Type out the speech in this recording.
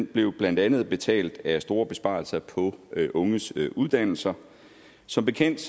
blev blandt andet betalt af store besparelser på unges uddannelser som bekendt